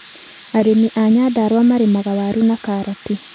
Arĩmi a Nyandarua marĩmaga waru na karati.